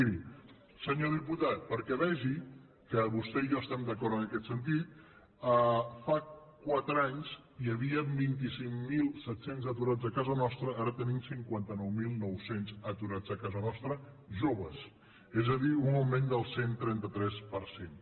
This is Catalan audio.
miri senyor diputat perquè vegi que vostè i jo estem d’acord en aquest sentit fa quatre anys hi havien vint cinc mil set cents aturats a casa nostra ara tenim cinquanta nou mil nou cents aturats a casa nostra joves és a dir un augment del cent i trenta tres per cent